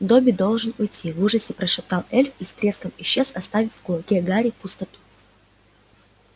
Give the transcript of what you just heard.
добби должен уйти в ужасе прошептал эльф и с треском исчез оставив в кулаке гарри пустоту